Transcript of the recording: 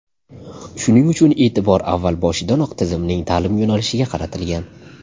Shuning uchun e’tibor avval boshidanoq tizimning ta’lim yo‘nalishiga qaratilgan.